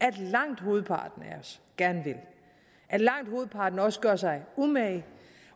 at langt hovedparten af os gerne vil at langt hovedparten også gør sig umage